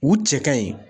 U cɛ ka ɲi